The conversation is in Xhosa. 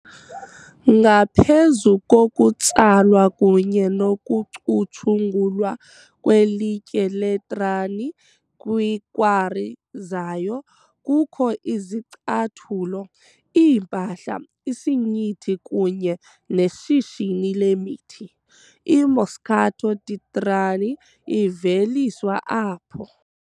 ngaphezu kokutsalwa kunye nokucutshungulwa kwelitye leTrani kwiikwari zayo, kukho izicathulo, iimpahla, isinyithi kunye neshishini lemithi, IMoscato di Trani iveliswa apho.